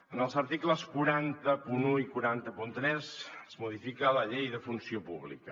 en els articles quatre cents i un i quatre cents i tres es modifica la llei de funció pública